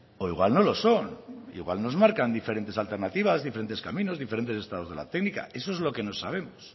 o igual no lo son igual nos marcan diferentes alternativas diferentes caminos diferentes estados de la técnica eso es lo que no sabemos